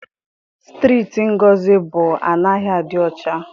Strịịtị Ngozi bi anaghị adị ọcha.